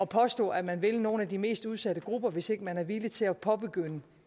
påstå at man vil nogle af de mest udsatte grupper hvis ikke man er villig til at påbegynde